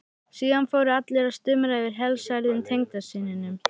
Síðan fóru allir að stumra yfir helsærðum tengdasyninum.